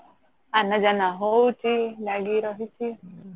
ହଉଚି ଲାଗି ରହିଛି